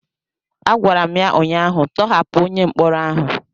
a gwara m ya ụnyahụ,. tọhapụ onye mkpọrọ ahụ!